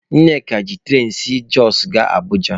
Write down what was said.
Nneka ji turain si Jọsụ gaa Abụja.